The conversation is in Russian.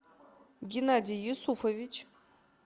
геннадий юсуфович